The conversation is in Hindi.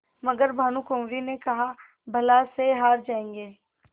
मगर भानकुँवरि ने कहाबला से हार जाऍंगे